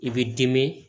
I b'i dimi